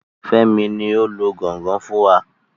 Fẹ́mi ni o lu gangan fún wa.